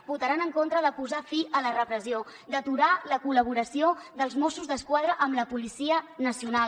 votaran en contra de posar fi a la repressió d’aturar la col·laboració dels mossos d’esquadra amb la policia nacional